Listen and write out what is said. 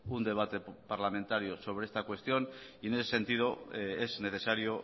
un debate parlamentario sobre esta cuestión y en ese sentido es necesario